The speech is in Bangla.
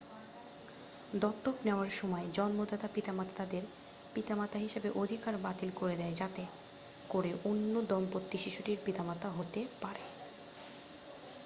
দত্তক নেয়ার সময় জন্মদাতা পিতামাতা তাদের পিতামাতা হিসেবে অধিকার বাতিল করে দেয় যাতে করে অন্য দম্পতি শিশুটির পিতামাতা হতে পারে